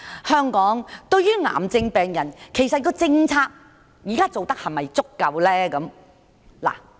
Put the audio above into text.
香港現時對於癌症病人的政策是否足夠呢？